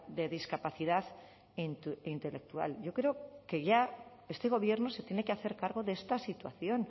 de discapacidad intelectual yo creo que ya este gobierno se tiene que hacer cargo de esta situación